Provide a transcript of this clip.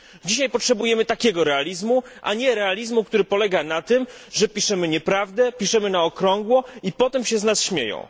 Dzisiaj potrzebujemy takiego realizmu, a nie realizmu, który polega na tym, że piszemy nieprawdę, że piszemy na okrągło i potem się z nas śmieją.